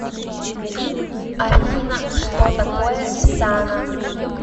афина что такое сана